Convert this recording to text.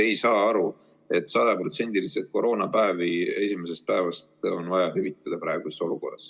Kes ikkagi ei saa aru, et praeguses olukorras on vaja sajaprotsendiliselt koroonapäevi esimesest päevast hüvitada?